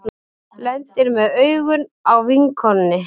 Lendir með augun á vinkonunni.